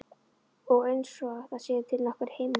Og einsog það séu til nokkrir himnar.